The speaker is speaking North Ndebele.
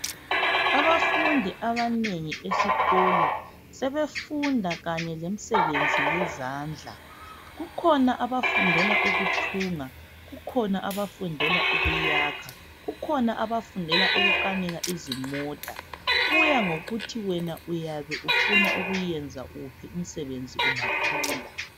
Abafundi abanengi esikolo sebefunda kanye lemsebenzi yezandla kukhona abafundela ukuthunga kukhona abafundela ukuyakha kukhona abafundela ukukanika izimota kuya ngokuthi wena ufuna ukuyenza wuphi umsebenzi ungakhula.